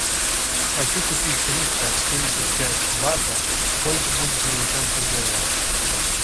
хочу купить триста семьдесят пять бата сколько будет в американских долларах